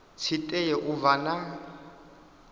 tshi tea u vha na